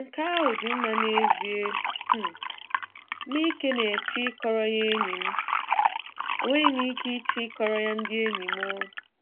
Nke ahụ dị mma n'ezie! M ike na-eche ịkọrọ ya enyi m! Enweghị m ike iche ịkọrọ ya ndị enyi m!